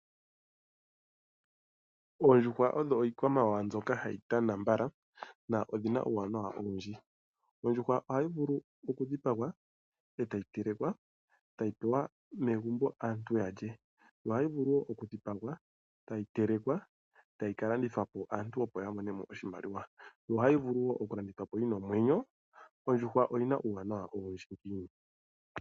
Oondjuhwa odho ikwamawawa mbyoka hayi tana mbala na odhina uwanawa owundji, ondjuhwa ohayi vulu oku dhipangwa etayi telekwa otayi tulwa megumbo aantu yalye yo ohayi vulu wo okudhipangwa etayi telekwa otayi kalandithapo aantu opo yamone oshimaliwa, yo ohayi vulu oku landithwapo yina omwenyo, ondjuhwa oyina uwanawa owundji ngiini.